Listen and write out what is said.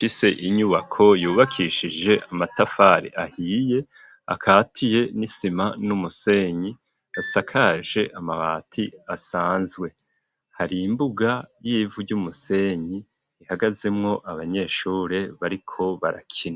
Ishure rifise inyubako yubakishije amatafari ahiye akatiye n'isima n'umusenyi asakaje amabati asanzwe, hari imbuga y'ivu ry'umusenyi ihagazemwo abanyeshure bariko barakina.